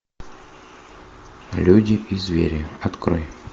люди и звери открой